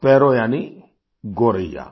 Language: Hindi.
स्पैरो यानि गोरैया